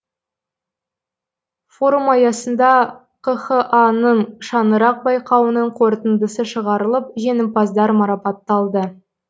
форум аясында қха ның шаңырақ байқауының қорытындысы шығарылып жеңімпаздар марапатталды